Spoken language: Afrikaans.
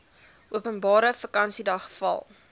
openbare vakansiedag val